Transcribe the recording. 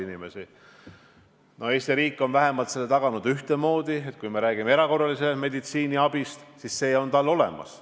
Eesti riik on aga vähemalt taganud, et kui me räägime erakorralisest meditsiiniabist, siis see on neil olemas.